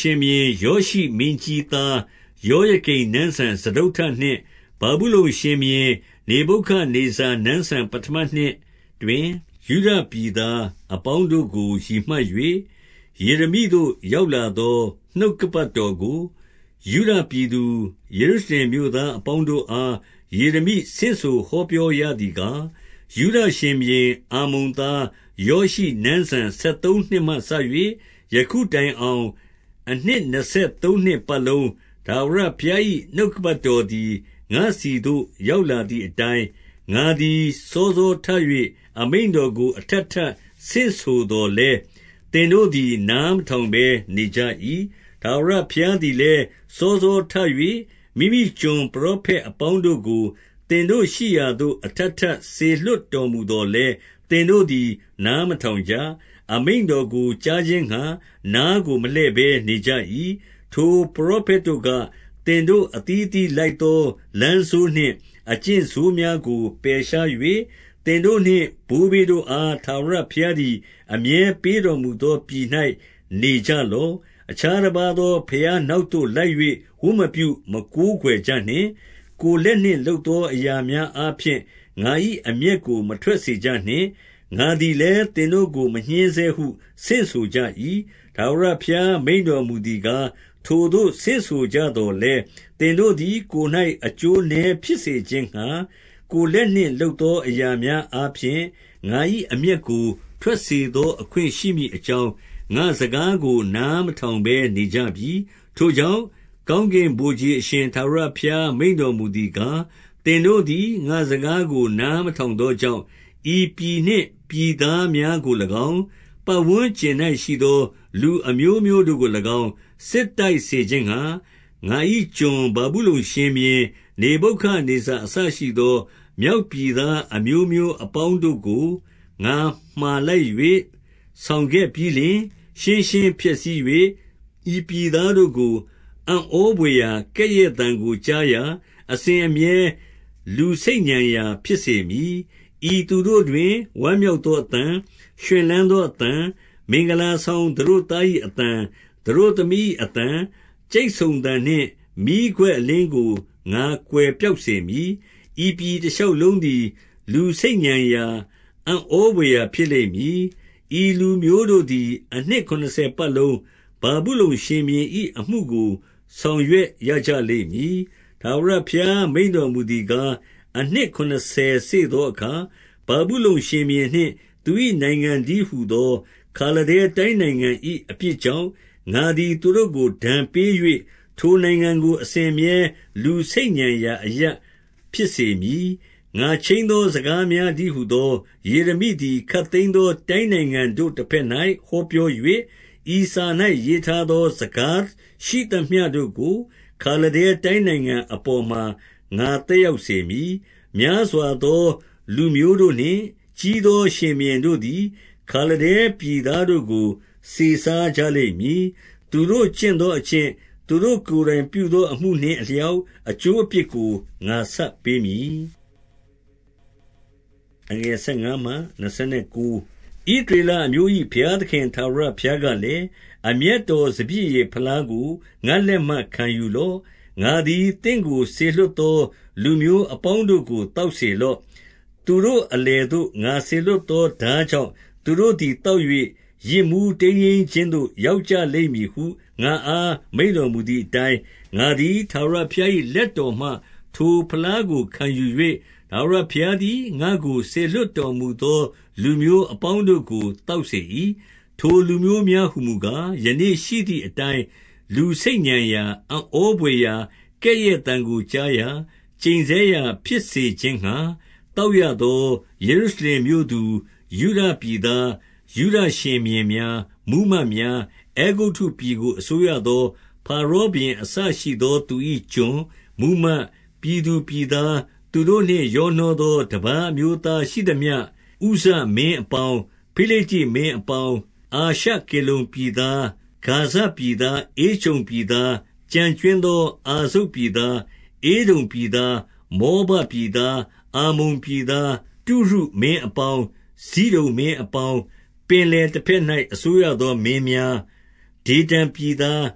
ရှင်ဘုရင် ယောရှိမင်းကြီးသား ယောယ ကိမ်နန်းစံ စတုတ္ထနှစ်၊ ဗာဗုလုန်ရှင်ဘုရင် နေဗုခဒ်နေဇာ နန်းစံ ပဌမနှစ်တွင်၊ ယုဒပြည်သားအပေါင်းတို့ကို ရည် မှတ်၍၊ ယေရမိသို့ ရောက်လာသော နှုတ်ကပတ်တော်ကို၊ 2 ယုဒပြည်သူ၊ ယေရုရှလင်မြို့သားအပေါင်းတို့ အား၊ ယေရမိဆင့်ဆိုဟောပြောရသည်ကား၊ 3 ယုဒရှင်ဘုရင် အာမုန်သား ယောရှိနန်းစံ ဆယ် သုံးနှစ်မှစ၍ ယခုတိုင်အောင်၊ အနှစ်နှစ်ဆယ်သုံးနှစ်ပတ် လုံး ထာဝရဘုရား၏ နှုတ်ကပတ်တော်သည် ငါ့ဆီသို့ ရောက်လာသည်အတိုင်း၊ ငါသည် စောစောထ၍ အမိန့် တော်ကို အထပ်ထပ်ဆင့်ဆိုသော်လည်း၊ သင်တို့သည် နားမထောင်ဘဲ နေကြ၏။ 4 ထာဝရဘုရားသည်လည်း၊ စောစောထ၍ မိမိကျွန် ပရောဖက်အပေါင်းတို့ကို၊ သင်တို့ရှိရာသို့ အထပ်ထပ်စေလွှတ်တော်မူသော်လည်း၊ သင်တို့သည် နားမထောင်ကြ။ အမိန့်တော်ကို ကြားခြင်းငှါ နားကို မလှည့်ဘဲ နေကြ၏။ 5 ထိုပရောဖက်တို့က၊ သင်တို့အသီးအသီး လိုက် သောလမ်းဆိုးနှင့် အကျင့်ဆိုးများကို ပယ်ရှား၍၊ သင်တို့ နှင့် ဘိုးဘေးတို့အား ထာဝရဘုရားသည် အမြဲပေးတော် မူသော ပြည်၌ နေကြလော့။ 6 အခြားတပါးသော ဘုရားနောက်သို့ လိုက်၍ ဝတ်မပြု၊ မကိုးကွယ်ကြနှင့်။ ကိုယ်လက်နှင့် လုပ်သော အရာများအားဖြင့်၊ ငါ၏အမျက်ကို မထွက်စေကြနှင့်။ ငါသည်လည်း၊ သင်တို့ကို မညှဉ်းဆဲဟု ဆင့်ဆိုကြ၏။ 7 ထာဝရဘုရား မိန့်တော်မူသည်ကား၊ ထိုသို့ ဆင့်ဆိုကြသော်လည်း၊ သင်တို့သည် ကိုယ်၌အကျိုးနည်း ဖြစ်စေခြင်းငှါ၊ ကိုယ်လက်နှင့် လုပ်သော အရာများအား ဖြင့်၊ ငါ၏အမျက်ကို ထွက်စေသော အခွင့်ရှိမည် အကြောင်း၊ ငါ့စကားကို နားမထောင်ဘဲနေကြပြီ။ 8 ထိုကြောင့်၊ ကောင်းကင်ဗိုလ်ခြေ အရှင် ထာဝရ ဘုရား မိန့်တော်မူသည်ကား၊ သင်တို့သည် ငါ့စကားကို နားမထောင်သောကြောင့်၊ 9 ဤပြည်နှင့် ပြည်သားများကို၎င်း၊ ပတ်ဝန်းကျင် ၌ရှိသော လူအမျိုးမျိုးတို့ကို၎င်း စစ်တိုက်စေခြင်းငှါ၊ ငါ၏ ကျွန်ဗာဗုလုန် ရှင်ဘုရင်နေဗုခဒ်နေဇာအစရှိသော မြောက်ပြည်သား အမျိုးမျိုးအပေါင်းတို့ကို ငါမှာလိုက်၍ ဆောင်ခဲ့ပြီးလျှင်၊ ရှင်းရှင်းဖျက်ဆီး၍၊ ဤပြည်သားတို့ကို အံ့ဩဘွယ်ရာ၊ ကဲ့ရဲ့သံကိုကြားရာ၊ အစဉ်အမြဲ လူဆိတ်ညံရာ ဖြစ်စေမည်။ 10 ဤသူတို့တွင် ဝမ်းမြောက်သော အသံ၊ ရွှင်လန်း သောအသံ၊ မင်္ဂလာဆောင်သတို့သား၏အသံ၊ သတို့သမီး ၏အသံ၊ ကြိတ်ဆုံသံနှင့် မီးခွက်အလင်းကို ငါကွယ် ပျောက်စေမည်။ 11 ဤပြည်တရှောက်လုံးသည် လူဆိတ်ညံရာ၊ အံ့ဩဘွယ်ရာ ဖြစ်လိမ့်မည်။ ဤလူမျိုးတို့သည် အနှစ် ခုနစ်ဆယ်ပတ်လုံး ဗာဗုလုန်ရှင်ဘုရင်၏ အမှုကို ဆောင် ရွက်ရကြလိမ့်မည်။ 12 ထာဝရဘုရားမိန့်တော်မူသည်ကား၊ အနှစ် ခုနစ်ဆယ်စေ့သောအခါ၊ ဗာဗုလုန်ရှင်ဘုရင်နှင့် သူ၏ နိုင်ငံတည်းဟူသော ခါလဒဲတိုင်းနိုင်ငံ၏ အပြစ် ကြောင့်၊ ငါသည် သူတို့ကို ဒဏ်ပေး၍၊ ထိုနိုင်ငံကို အစဉ် အမြဲ လူဆိတ်ညံရာအရပ် ဖြစ်စေမည်။ 13 ငါခြိမ်းသောစကားများတည်းဟူသော ယေရမိ သည် ခပ်သိမ်းသော တိုင်းနိုင်ငံတို့တဘက်၌ ဟောပြော ၍၊ ဤစာ၌ရေးထားသော စကားရှိသမျှတို့ကို ခါလဒဲ တိုင်းနိုင်ငံအပေါ်မှာ ငါသက်ရောက်စေမည်။ 14 များစွာသော လူမျိုးတို့နှင့် ကြီးသော ရှင်ဘုရင် တို့သည် ခါလဒဲပြည်သားတို့ကို စေစားကြလိမ့်မည်။ သူတို့ ကျင့်သော အကျင့်၊ သူတို့ကိုယ်တိုင်ပြုသော အမှုနှင့် အလျောက်၊ အကျိုးအပြစ်ကို ငါဆပ်ပေးမည်။ 15 ဣသရေလအမျိုး၏ဘုရားသခင် ထာဝရဘုရား ကလည်း၊ အမျက်တော်စပျစ်ရည်ဖလားကို ငါ့လက်မှ မခံယူ လော့။ ငါသည်သင့်ကို စေလွှတ်သော လူမျိုးအပေါင်း တို့ကို သောက်စေလော့။ 16 သူတို့အလယ်သို့ ငါစေလွှတ်သော ထားကြောင့် သူတို့သည် သောက်၍ ယစ်မူးတိမ်းယိမ်းခြင်းသို့ ရောက် ကြလိမ့်မည်ဟု ငါ့အား မိန့်တော်မူသည်အတိုင်း၊ 17 ငါသည် ထာဝရဘုရား၏ လက်တော်မှ ထို ဖလားကိုခံယူ၍၊ ထာဝရဘုရားသည် ငါ့ကို စေလွှတ် တော်မူသော လူမျိုးအပေါင်းတို့ကို သောက်စေ၏။ 18 ထိုလူမျိုးများဟူမူကား၊ ယနေ့ရှိသည်အတိုင်း လူဆိတ်ညံရာ၊ အံ့ဩဘွယ်ရာ၊ ကဲ့ရဲ့သံကိုကြားရာ၊ ကျိန်ဆဲ ရာဖြစ်စေခြင်းငှါ၊ သောက်ရသော ယေရုရှလင်မြို့သူ၊ ယုဒပြည်သား၊ ယုဒရှင်ဘုရင်များ၊ မှူးမတ်များ၊ 19 အဲဂုတ္တုပြည်ကို အစိုးရသော ဖာရောဘုရင် အစရှိသော သူ၏ ကျွန်၊ မှူးမတ်၊ ပြည်သူပြည်သား၊ သူတို့နှင့် ရောနှောသော တပါးအမျိုး သားရှိသမျှ၊ 20 ဥဇမင်းအပေါင်း၊ ဖိလိတ္တိမင်းအပေါင်း၊ အာရှ ကေလုန်ပြည်သား၊ ဂါဇပြည်သား၊ ဧကြုန်ပြည်သား၊ ကျန်ကြွင်းသော အာဇုတ်ပြည်သား၊ 21 ဧဒုံပြည်သား၊ မောဘပြည်သား၊ အမ္မုန် ပြည်သား၊ 22 တုရုမင်းအပေါင်း၊ ဇိဒုန်မင်းအပေါင်း၊ ပင်လယ် တဘက်၌ အစိုးရသောမင်းများ၊ 23 ဒေဓန်ပြည်သား၊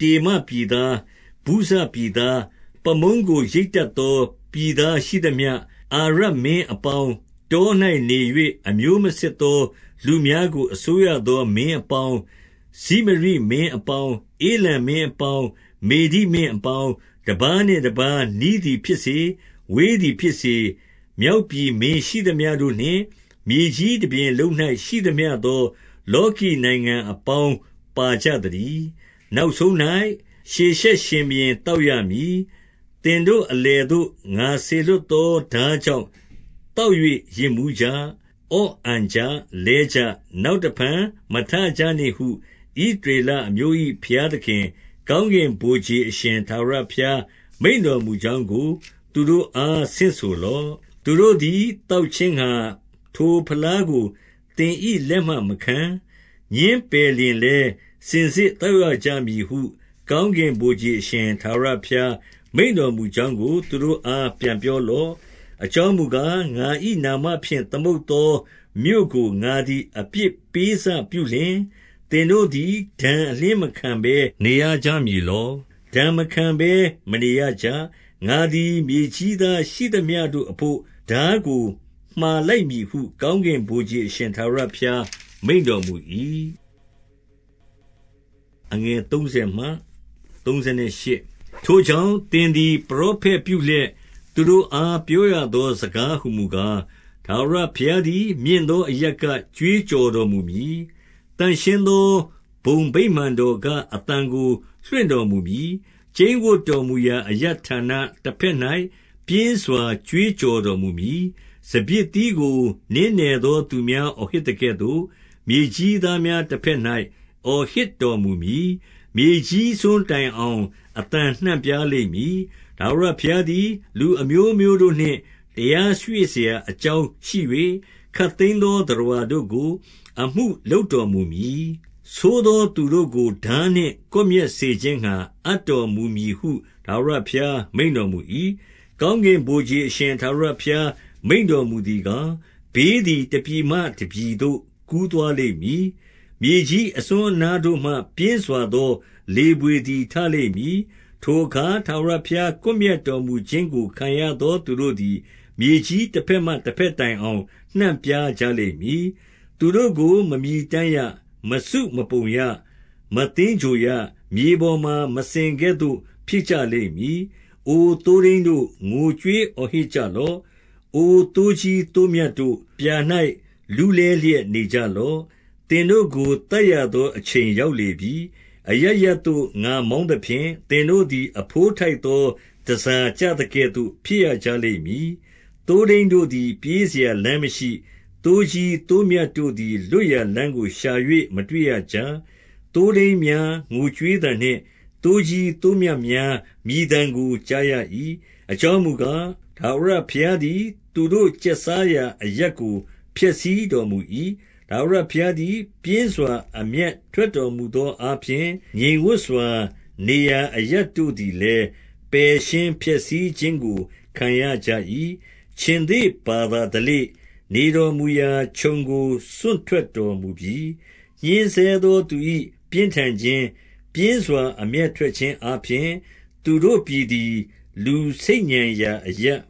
တေမပြည်သား၊ ဗုဇပြည်သား၊ ပါးမုန်းကို ရိတ်တတ်သော ပြည်သားရှိသမျှ၊ 24 အာရပ်မင်းအပေါင်း၊ တော၌နေ၍ အမျိုးမစစ် သော လူများကို အစိုးရသော မင်းအပေါင်း၊ 25 ဇိမရိမင်းအပေါင်း၊ ဧလံမင်းအပေါင်း၊ မေဒိမင်း အပေါင်း၊ 26 တပါးနှင့်တပါးနီးသည်ဖြစ်စေ၊ ဝေးသည်ဖြစ်စေ၊ မြောက်ပြည်မင်းရှိသမျှတို့နှင့်၊ မြေကြီးတပြင်လုံး၌ ရှိသမျှ သော လောကီနိုင်ငံ အပေါင်းပါကြသတည်း။ နောက်ဆုံး ၌ ရှေရှက်ရှင်ဘုရင်သောက်ရမည်။ 27 သင်တို့အလယ်သို့ ငါစေလွှတ်သော ထား ကြောင့် သောက်၍ ယစ်မူးကြ။ အော့အန်ကြ၊ လဲကြ၊ နောက်တဖန် မထကြနှင့်ဟု ဣသရေလအမျိုး၏ ဘုရား သခင်၊ ကောင်းကင်ဗိုလ်ခြေအရှင် ထာဝရဘုရား မိန့်တော်မူကြောင်းကို သူတို့အား ဆင့်ဆိုလော့။ 28 သူတို့သည် သောက်ခြင်းငှါ ထိုဖလားကို သင်၏ လက်မှမခံ၊ ငြင်းပယ်လျှင်လည်း၊ စင်စစ်သောက်ရကြ မည်ဟု၊ ကောင်းကင်ဗိုလ်ခြေ အရှင်ထာဝရဘုရား မိန့်တော်မူကြောင်းကို သူတို့အား ပြန်ပြောလော့။ 29 အကြောင်းမူကား၊ ငါ၏နာမဖြင့် သမုတ်သော မြို့ကို ငါသည် အပြစ်ပေးစပြုလျှင်၊ သင်တို့သည် ဒဏ် အလျှင်းမခံဘဲ နေရကြမည်လော။ ဒဏ်မခံဘဲမနေရကြ။ ငါသည် မြေကြီးသားရှိသမျှတို့အဘို့ ထားကို မှာလိုက် မည်ဟု ကောင်းကင်ဗိုလ်ခြေ အရှင်ထာဝရဘုရား မိန့် တော်မူ၏။ 30 ထိုကြောင့်၊ သင်သည် ပရောဖက်ပြုလျက် သူတို့ အား ဟောပြောရသောစကားများဟူမူကား၊ ထာဝရ ဘုရားသည် မြင့်သော အရပ်က ကြွေးကြော်တော် မူမည်။ သန့်ရှင်းသော ဘုံဗိမာန်တော်က အသံကို လွှင့် တော်မူမည်။ ကျိန်းဝပ်တော်မူရာအရပ်ဌာန တဘက်၌ ပြင်းစွာ ကြွေးကြော်တော်မူမည်။ စပျစ်သီးကို နင်းနယ် သောသူများ အော်ဟစ်သကဲ့သို့၊ မြေကြီးသားများ တဘက်၌ အော်ဟစ်တော်မူမည်။ 31 မြေကြီးစွန်းတိုင်အောင် အသံနှံ့ပြားလိမ့်မည်။ ထာဝရဘုရားသည် လူအမျိုးမျိုးတို့နှင့် တရားတွေ့စရာ အကြောင်းရှိ၍၊ ခပ်သိမ်းသော သတ္တဝါတို့ကို အမှု လုပ်တော်မူမည်။ ဆိုးသောသူတို့ကို ထားနှင့်ကွပ်မျက် စေခြင်းငှါ အပ်တော်မူမည်ဟု ထာဝရဘုရား မိန့်တော် မူ၏။ 32 ကောင်းကင်ဗိုလ်ခြေအရှင် ထာဝရဘုရား မိန့်တော်မူသည်ကား၊ ဘေးသည် တပြည်မှတပြည်သို့ ကူးသွားလိမ့်မည်။ မြေကြီးအစွန်းအနားတို့ မှ ပြင်းစွာသော လေဘွေသည် ထလိမ့်မည်။ 33 ထိုအခါ ထာဝရဘုရား ကွပ်မျက်တော်မူခြင်းကို ခံရသော သူတို့သည် မြေကြီးတဘက်မှတဘက် တိုင်အောင် နှံ့ပြားကြလိမ့်မည်။ သူတို့ကို မမြည်တမ်းရ။ မစုမပုံရ။ မသင်္ဂြိုဟ်ရ။ မြေပေါ်မှာ မစင်ကဲ့သို့ ဖြစ်ကြ လိမ့်မည်။ 34 အို သိုးထိန်းတို့၊ ငိုကြွေးအော်ဟစ်ကြလော့။ အို သိုးကြီးသိုးမြတ်တို့၊ ပြာ၌လူးလည်းလျက်နေကြလော့။ သင်တို့ကို သတ်ရသော အချိန်ရောက်လေပြီ။ အရပ်ရပ် သို့ ငါမောင်းသဖြင့်၊ သင်တို့သည် အဘိုးထိုက်သော တန်ဆာကျသကဲ့သို့ ဖြစ်ရကြလိမ့်မည်။ 35 သိုးထိန်းတို့သည် ပြေးစရာလမ်းမရှိ။ သိုးကြီး သိုးမြတ်တို့သည် လွတ်ရာလမ်းကို ရှာ၍ မတွေ့ရကြ။ 36 သိုးထိန်းများ ငိုကြွေးသံနှင့် သိုးကြီး သိုးမြတ်များ မြည်သံကိုကြားရ၏။ အကြောင်းမူကား၊ ထာဝရဘုရား သည် သူတို့ကျက်စားရာအရပ်ကို ဖျက်ဆီးတော်မူ၏။ 37 ထာဝရဘုရား သည်ပြင်းစွာအမျက်ထွက်တော်မူသော အားဖြင့် ငြိမ်ဝပ်စွာ နေရာ အရပ်တို့ သည်လည်း ပယ်ရှင်းဖျက်ဆီးခြင်းကို ခံရကြ၏။ 38 ခြင်္သေ့ဘာသာဓလေ့၊ နေတော်မူရာခြုံကို စွန့် ထွက်တော်မူပြီ။ ညှဉ်းဆဲသော သူ၏ပြင်းထန်ခြင်း၊ ပြင်း စွာ အမျက်ထွက်ခြင်းအားဖြင့်၊ သူတို့ ပြသည် လူဆိတ်ညံ ရာအရပ်ဖြ